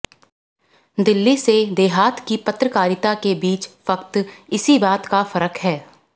दिल्ली से देहात की पत्रकारिता के बीच फकत इसी बात का फर्क है